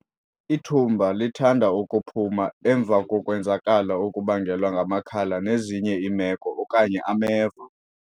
Ithumba lithanda ukuphuma emva kokwenzakala okubangelwa ngamakhala nezinye iimeko okanye ameva.